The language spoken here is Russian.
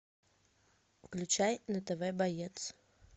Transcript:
включай на тв боец